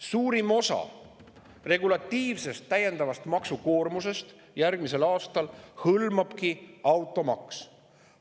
Suurima osa regulatiivsest täiendavast maksukoormusest järgmisel aastal hõlmabki automaks.